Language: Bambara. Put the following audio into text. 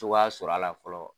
Cogoya sɔrɔ a la fɔlɔ